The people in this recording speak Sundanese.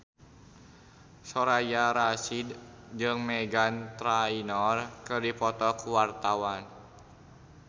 Soraya Rasyid jeung Meghan Trainor keur dipoto ku wartawan